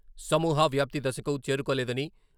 సమూహ వ్యాప్తి దశకు చేరుకోలేదని..